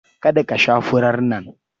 Kada ka sha furar nan!